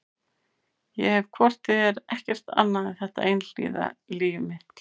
Ég hef hvort eð er ekkert annað en þetta einhliða líf mitt.